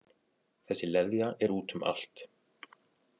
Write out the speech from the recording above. Þessi leðja er út um allt